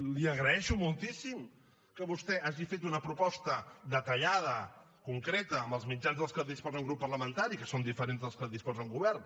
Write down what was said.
li agraeixo moltíssim que vostè hagi fet una proposta detallada concreta amb els mitjans de què disposa un grup parlamentari que són diferents dels que en disposa un govern